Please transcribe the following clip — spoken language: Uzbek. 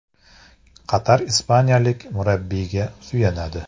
Qatar ispaniyalik murabbiyga suyanadi.